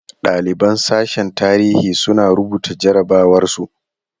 Ɗaliban sashen tarihi suna rubuta jarabawar su.